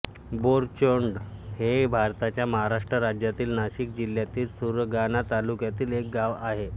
बोरचोंड हे भारताच्या महाराष्ट्र राज्यातील नाशिक जिल्ह्यातील सुरगाणा तालुक्यातील एक गाव आहे